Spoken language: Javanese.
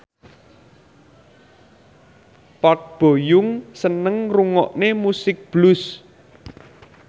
Park Bo Yung seneng ngrungokne musik blues